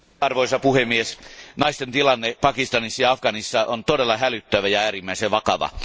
Arvoisa puhemies, naisten tilanne Pakistanissa ja Afganistanissa on todella hälyttävä ja äärimmäisen vakava.